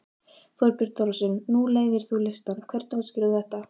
Þorbjörn Þórðarson: Nú leiðir þú listann, hvernig útskýrir þú þetta?